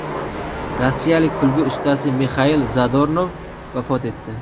Rossiyalik kulgi ustasi Mixail Zadornov vafot etdi.